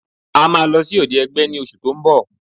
A máa lọ sí òde ẹgbẹ́ ní oṣù tó ń bọ̀